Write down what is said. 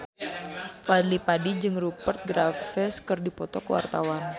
Fadly Padi jeung Rupert Graves keur dipoto ku wartawan